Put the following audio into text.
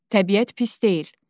Təbiət pis deyil.